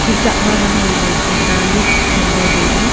chi chak ma langle ley chu ta lik ngan ley tailey.